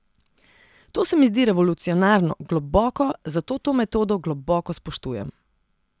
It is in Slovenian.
To se mi zdi revolucionarno, globoko, zato to metodo globoko spoštujem.